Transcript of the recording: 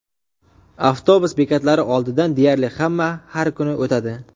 Avtobus bekatlari oldidan deyarli hamma har kuni o‘tadi.